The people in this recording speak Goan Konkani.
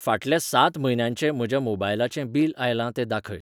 फाटल्या सात म्हयन्यांचें म्हज्या मोबायलाचें बिल आयलां तें दाखय.